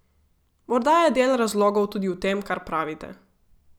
Morda je del razlogov tudi v tem, kar pravite.